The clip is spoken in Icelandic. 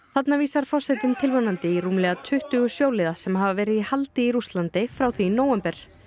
þarna vísar forsetinn tilvonandi til rúmlega tuttugu sjóliða sem hafa verið í haldi í Rússlandi frá því í nóvember